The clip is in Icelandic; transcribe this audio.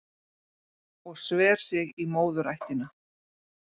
Og sver sig í móðurættina